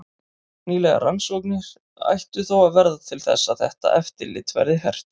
Nýlegar rannsóknir ættu þó að verða til þess að þetta eftirlit verði hert.